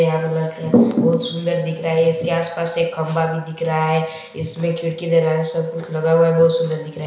बहोत सुन्दर दिख रह है इस के आस-पास एक खम्बा दिख रहा है इस में खिड़की दरवाजे सब कुछ लगा हुआ है बहोत सुंदर दिख रहा है।